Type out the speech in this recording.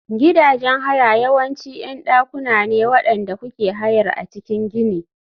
Gidajen haya yawanci ƴan dakuna ne waɗanda kuke hayar a cikin gini.